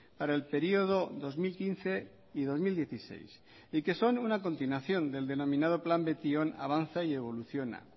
para el periodo dos mil quince y dos mil dieciséis y que son una continuación del denominado plan betion avanza y evoluciona